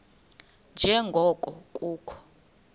nje ngoko kukho